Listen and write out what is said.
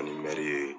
Ani mɛri ye